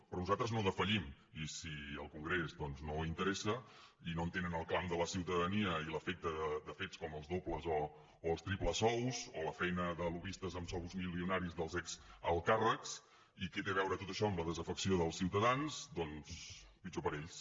però nosaltres no defallim i si al congrés doncs no interessa i no entenen el clam de la ciutadania ni l’efecte de fets com els dobles o els triples sous o la feina de lobbistes amb sous milionaris dels exalts càrrecs ni què té a veure tot això amb la desafecció dels ciutadans doncs pitjor per a ells